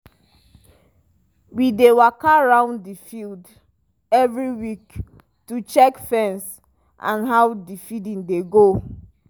we dey waka round the field every week to check fence and how the feeding dey go.